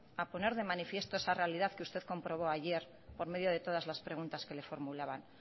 a poner de manifiesto esa realidad que usted comprobó ayer por medio de todas las preguntas que le formulaba